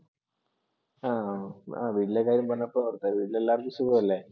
ആഹ് വീട്ടിലെ കാര്യം പറഞ്ഞപ്പോഴാ ഓർത്തത്, വീട്ടിലെല്ലാർക്കും സുഖമല്ലേ?